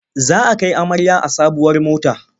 Za a kai amarya a sabuwar mota.